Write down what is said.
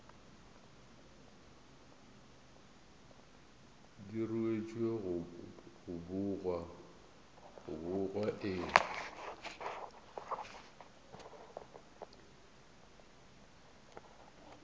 di ruetšwe go bogwa e